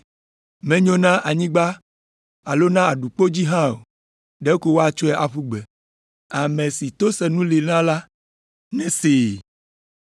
Menyo na anyigba alo na aɖukpo dzi hã o; ɖeko woatsɔe aƒu gbe. “Ame si to senu li na la nesee.”